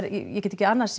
ég get ekki annað